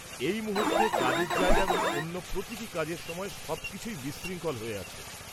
এই মুহূর্তে কাজের জায়গা এবং অন্য প্রতিটি কাজের সময় সবকিছুই বিশৃঙ্খল হয়ে আছে ।